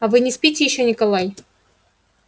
а вы не спите ещё николай